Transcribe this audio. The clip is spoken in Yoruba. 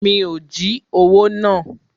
Mi ò jí owó náà.